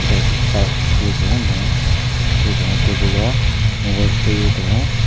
naikhe choksuye tongo bong khe bo ah table o mobile sebei.